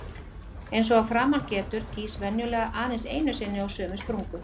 Eins og að framan getur, gýs venjulega aðeins einu sinni á sömu sprungu.